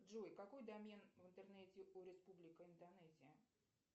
джой какой домен в интернете у республика индонезия